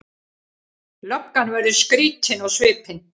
Löggan verður skrýtin á svipinn.